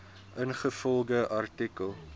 ingevolge artikel